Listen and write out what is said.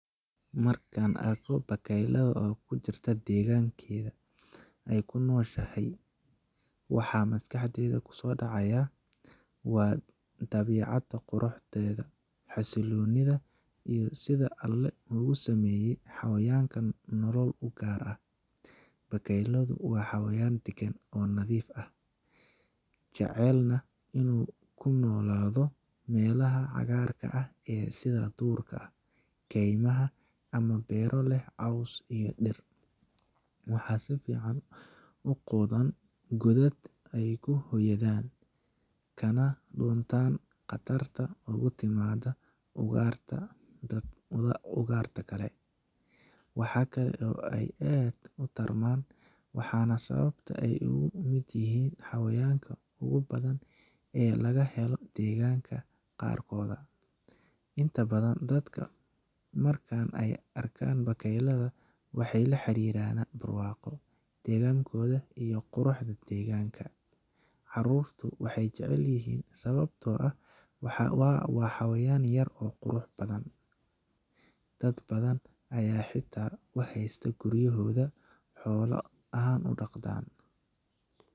Marka aan arko bakaylaha ku jira deegaanka ay ku nooshahay, waxa maskaxdayda ku soo dhacaya waa dabiicadda quruxdeeda, xasiloonida, iyo sida Alle ugu sameeyey xayawaankan nolol u gaar ah. Bakayluhu waa xayawaan deggan oo nadiif ah, jecelna inuu ku noolaado meelaha cagaarka leh sida duurka, kaymaha, ama beero leh caws iyo dhir. Waxay si fiican u qodaan godad ay ku hoydaan, kana dhuuntaan khatarta uga timaadda ugaadhta kale. Waxa kale oo ay aad u tarmaan, waana sababta ay uga mid yihiin xayawaanka ugu badan ee laga helo deegaanada qaarkood. Inta badan dadka marka ay arkaan bakayle, waxay la xiriiriyaan barwaaqo, deggankooda, iyo quruxda deegaanka. Carruurtu way jecel yihiin sababtoo ah waa xayawaan yar oo qurux badan, dad badan ayaana xitaa ku haysta guryohoda xoolo ahaan u dhaqdan.